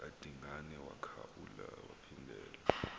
kadingane wakhaeula waphindelela